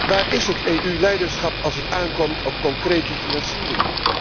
Waar is het EU leiderschap als het aankomt op concrete financiering?